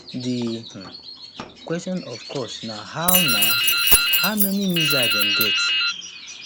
di um question of course na how na how many missiles dem get